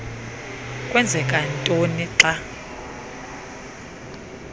kwenzeka ntoni xa